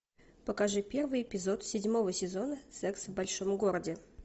покажи первый эпизод седьмого сезона секс в большом городе